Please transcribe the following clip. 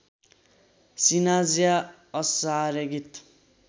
सिनाज्या असारेगीत